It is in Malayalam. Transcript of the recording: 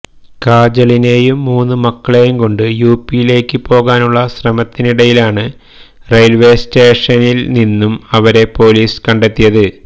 കാജളിനെയും മൂന്ന് മക്കളെയും കൊണ്ട് യുപിയിലേക്ക് പോകാനുള്ള ശ്രമത്തിനിടയിലാണ് റെയില്വെ സ്റ്റേഷനില് നിന്നും അവരെ പൊലീസ് കണ്ടെത്തിയത്